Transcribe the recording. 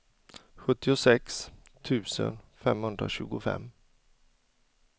sjuttiosex tusen femhundratjugofem